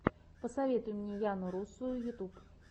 посоветуй мне яну русую ютуб